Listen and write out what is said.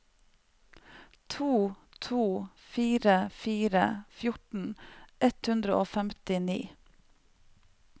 to to fire fire fjorten ett hundre og femtini